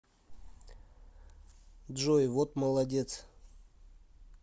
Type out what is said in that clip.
джой вот молодец